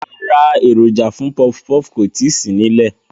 Rárá, èròjà fún pọfpọf kò tíì sí nílẹ̀